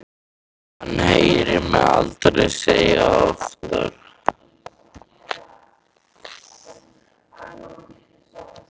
Hann heyrir mig aldrei segja það oftar.